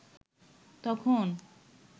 তখন